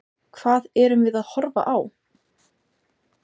Hvað erum við að horfa á?